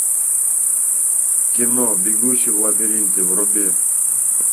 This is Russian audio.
кино бегущий в лабиринте вруби